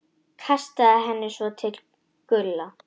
Kastaði henni svo til Gulla.